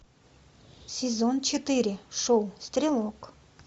сезон четыре шоу стрелок